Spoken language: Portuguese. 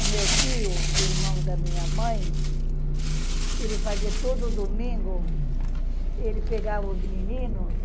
O meu tio, irmão da minha mãe, ele fazia todo domingo, ele pegava os meninos,